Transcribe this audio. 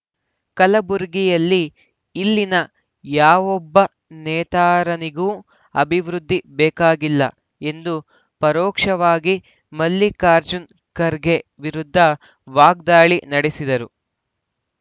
ಕಲಬುರಗಿಯಲ್ಲಿ ಇಲ್ಲಿನ ಯಾವೊಬ್ಬ ನೇತಾರನಿಗೂ ಅಭಿವೃದ್ಧಿ ಬೇಕಾಗಿಲ್ಲ ಎಂದು ಪರೋಕ್ಷವಾಗಿ ಮಲ್ಲಿಕಾರ್ಜುನ್ ಖರ್ಗೆ ವಿರುದ್ಧ ವಾಗ್ದಾಳಿ ನಡೆಸಿದರು